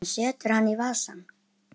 Hún setur hann í vasann.